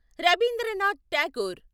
Rabindranath Tagore